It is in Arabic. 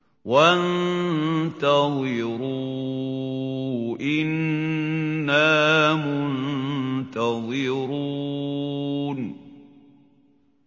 وَانتَظِرُوا إِنَّا مُنتَظِرُونَ